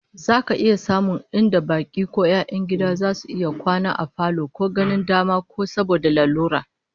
Za ka iya samun inda baki ko 'yan gida zasu iya kwana a falo ko ganin dama ko saboda lalura